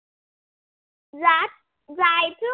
रात जायचं.